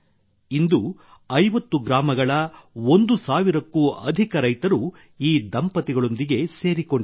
ಇಂದು 50 ಗ್ರಾಮಗಳ 1000 ಕ್ಕೂ ಅಧಿಕ ರೈತರು ಈ ದಂಪತಿಗಳೊಂದಿಗೆ ಸೇರಿಕೊಂಡಿದ್ದಾರೆ